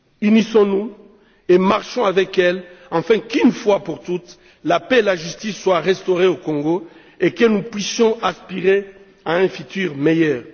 Unissons nous et marchons avec elle, afin qu'une fois pour toutes, la paix et la justice soient restaurées au Congo et que nous puissions aspirer à un futur meilleur.